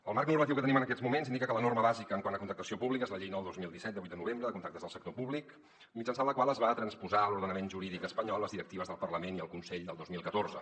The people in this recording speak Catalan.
el marc normatiu que tenim en aquests moments indica que la norma bàsica quant a contractació pública és la llei nou dos mil disset de vuit de novembre de contractes del sector públic mitjançant la qual es van transposar a l’ordenament jurídic espanyol les directives del parlament i el consell del dos mil catorze